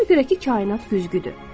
Ona görə ki, kainat güzgüdür.